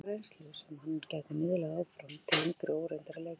Hann hefur mikla reynslu sem hann gæti miðlað áfram til yngri og óreyndari leikmanna.